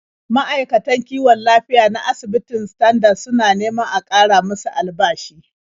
Ma'aikatan kiwon lafiya na asibitin Standard suna neman a ƙara musu albashi.